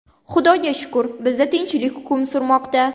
Xudoga shukr, bizda tinchlik hukm surmoqda.